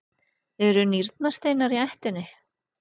eru nýrnasteinar í ættinni?